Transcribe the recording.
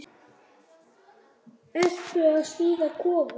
Ertu að smíða kofa?